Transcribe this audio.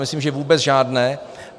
Myslím, že vůbec žádné.